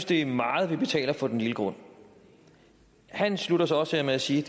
det er meget de betaler for den lille grund han slutter så så af med at sige